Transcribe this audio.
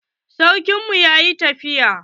Sarkin mu yayi tafiya.